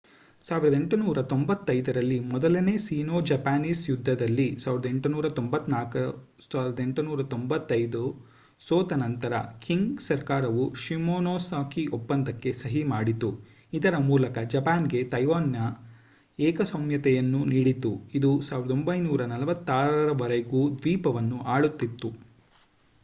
1895 ರಲ್ಲಿ ಮೊದಲ Sino Japanese ಯುದ್ಧದಲ್ಲಿ 1894-1895 ಸೋತ ನಂತರ ಖಿಂಗ್ ಸರ್ಕಾರವು ಶಿಮೊನೊಸೆಕಿ ಒಪ್ಪಂದಕ್ಕೆ ಸಹಿ ಮಾಡಿತು ಇದರ ಮೂಲಕ ಜಪಾನ್‌ಗೆ ತೈವಾನ್‌ನ ಏಕಸ್ವಾಮ್ಯತೆಯನ್ನು ನೀಡಿತು ಇದು 1945 ರವರೆಗೂ ದ್ವೀಪವನ್ನು ಆಳುತ್ತಿತ್ತು